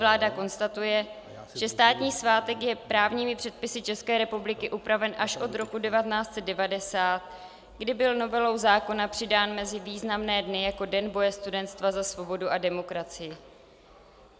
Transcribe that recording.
Vláda konstatuje, že státní svátek je právními předpisy České republiky upraven až od roku 1990, kdy byl novelou zákona přidán mezi významné dny jako Den boje studentstva za svobodu a demokracii.